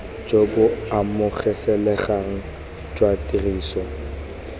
jo bo amogelesegang jwa tiriso